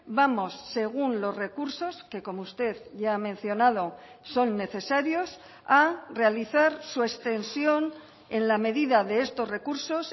vamos según los recursos que como usted ya ha mencionado son necesarios a realizar su extensión en la medida de estos recursos